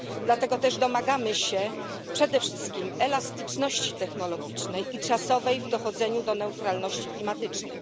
Dlatego też domagamy się przede wszystkim elastyczności technologicznej i czasowej w dochodzeniu do neutralności klimatycznej.